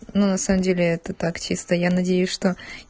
на самом деле это таксиста я надеюсь что